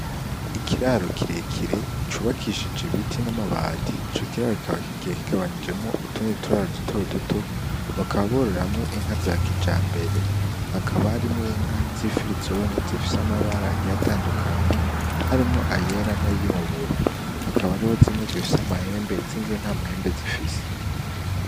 Ikiraro Kirekire Cubakishije Ibiti N'Amabati, Ico Kiraro Kikaba Kigiye Kigabanijemwo Utundi Turaro Duto Duto, Bakaba Bororeramwo Inka Za Kijambere, Hakaba Harimw'Inka Z'Ifrizone, Zifise Amabara Agiye Atandukanye Harimwo Ayera N'Ayirabura. Hakaba Hariho Zimwe Zifise Amahembe Izindi Ntamahembe Zifise.